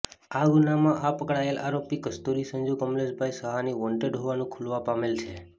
આ ગુન્હામાં આ પકડાયેલ આરોપી કસ્તુરી સંજુ કમલેશભાઈ સહાની વોન્ટેડ હોવાનું ખુલવા પામેલ છે